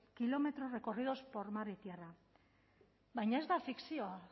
kilómetros recorridos por mar y tierra baina ez da fikzioa